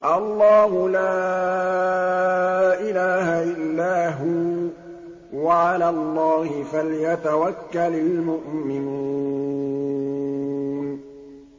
اللَّهُ لَا إِلَٰهَ إِلَّا هُوَ ۚ وَعَلَى اللَّهِ فَلْيَتَوَكَّلِ الْمُؤْمِنُونَ